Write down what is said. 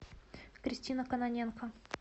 кристина кононенко